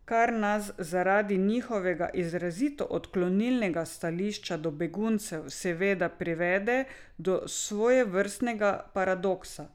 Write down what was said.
Kar nas zaradi njihovega izrazito odklonilnega stališča do beguncev seveda privede do svojevrstnega paradoksa.